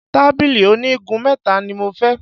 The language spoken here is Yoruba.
Tábìlì oní igun mẹ́ta ni mo fẹ́.